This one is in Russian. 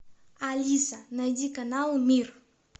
алиса найди канал мир